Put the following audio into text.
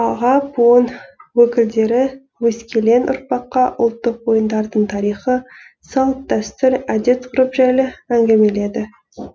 аға буын өкілдері өскелең ұрпаққа ұлттық ойындардың тарихы салт дәстүр әдет ғұрып жайлы әңгімеледі